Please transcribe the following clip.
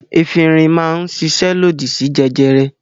Efirin máa ń ṣiṣẹ́ lòdì sí jẹjẹrẹ.